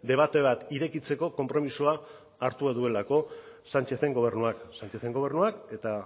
debate bat irekitzeko konpromisoa hartu duelako sánchezen gobernuak sánchezen gobernuak eta